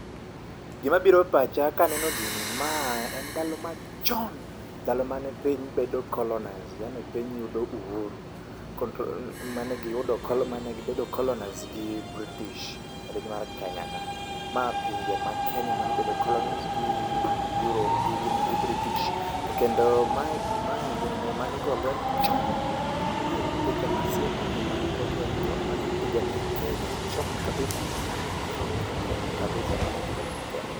Gima biro e pacha kaneno gini ma en ndalo machon, ndalo mane piny bedo colonised piny yudo uhuru, mane gibedo colonised ] gi British piny mar Kenya ka. Ma pinje ma Kenya mane obedo colonised gi Euro gi Baritish. To kendo mae ginene mane igo lweny chon, mae pinje masiemoji mane go lweny chon, mane pigania Kenya chon kabisa chon chon chon kabisa mane pigania Kenya.